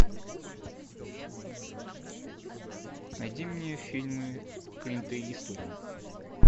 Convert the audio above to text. найди мне фильмы клинта иствуда